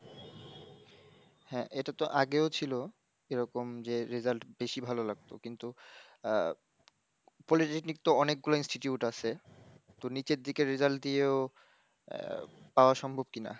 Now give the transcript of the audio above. হ্যাঁ, এটা তো আগেও ছিল, এরকম যে result বেশি ভালো লাগতো, কিন্তু আহ, polytechnic তো অনেকগুলো Institute আছে, তো নিচের দিকের result দিয়েও আহ পাওয়া সম্ভব কিনা?